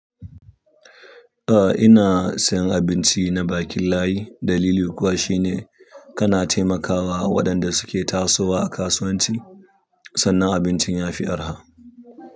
A ina sayan abinci na bakin layi dalili kuwa shine kana taimakawa waɗanda suke tasowa a kasuwanci sannan abincin yafi arha.